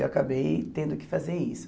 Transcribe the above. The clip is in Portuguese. Eu acabei tendo que fazer isso.